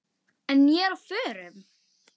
En ég er á förum.